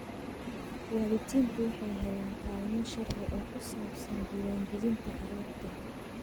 Waalidiintu waxay helaan kaalmo sharci oo ku saabsan diiwaangelinta carruurta.